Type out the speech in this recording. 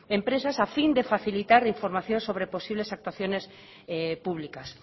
empresas a fin de facilitar información sobre posibles actuaciones públicas